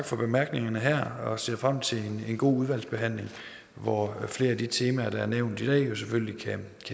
for bemærkningerne her og jeg ser frem til en god udvalgsbehandling hvor flere af de temaer der er nævnt i dag jo selvfølgelig kan